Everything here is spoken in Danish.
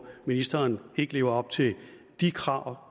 ministeren ikke lever op til de krav